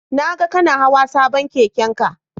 Na ga kana hawa sabon keken ka